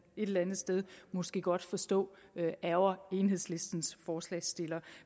et eller andet sted måske godt forstå ærgrer enhedslistens forslagsstiller